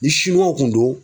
Ni siniwaw kun do